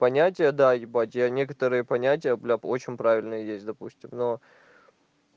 понятие да ебать я некоторые понятия бля очень правильные есть допустим но